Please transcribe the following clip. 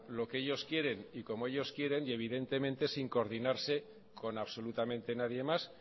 lo que ellos quieren y como ellos quieren y evidentemente sin coordinarse con absolutamente nadie más